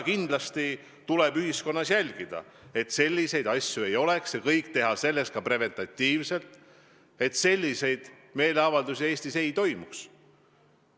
Kindlasti tuleb ühiskonnas jälgida, et selliseid asju ei oleks, ja teha kõik preventatiivselt, et selliseid meeleavaldusi Eestis ei toimuks.